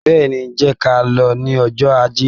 Bẹ́ẹ̀ni, jẹ́ ka lọ ní ọjó Ajé.